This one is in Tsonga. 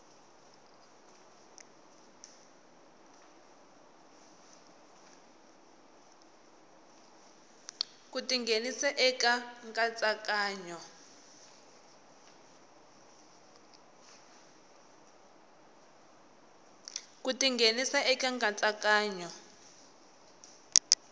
ku ti nghenisa eka nkatsakanyo